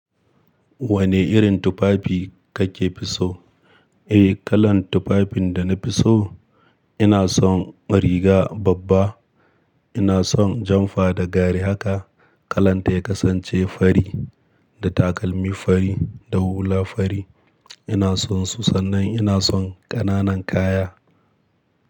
Wane irin tufafi kake fiso? Eh, kalan tufafin dana fiso. Ina son riga babba, ina son janfa da gari haka. Kalanta ya kasance fari, da takalmi fari, da hula fari. Ina sonsu, sannan ina son ƙananan kaya.